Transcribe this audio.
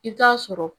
I bɛ taa sɔrɔ